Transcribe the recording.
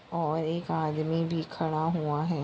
और एक आदमी भी खड़ा हुआ हैं।